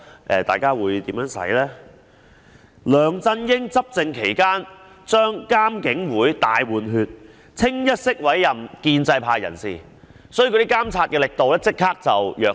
梁振英在他執政期間將監警會"大換血"，一律委任建制派人士，所以監察的力度立即轉弱。